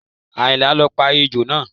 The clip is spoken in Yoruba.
Àyìnlá ló pa ejò náà